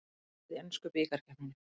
Dregið í ensku bikarkeppninni